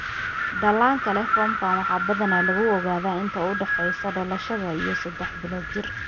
Dhallaanka leh foomkan waxaa badanaa lagu ogaadaa inta u dhexeysa dhalashada iyo sedex bilood jir.